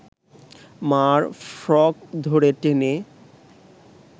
মা’র ফ্রক ধরে টেনে